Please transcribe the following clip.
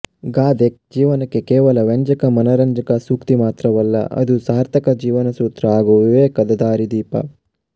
ಗಾದೆ ಜೀವನಕ್ಕೆ ಕೇವಲ ವ್ಯಂಜಕ ಮನರಂಜಕ ಸೂಕ್ತಿ ಮಾತ್ರವಲ್ಲ ಅದು ಸಾರ್ಥಕ ಜೀವನಸೂತ್ರ ಹಾಗೂ ವಿವೇಕದ ದಾರಿದೀಪ